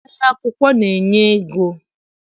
Ahịa akwụkwọ na- enye ego.